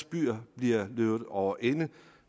byer bliver løbet over ende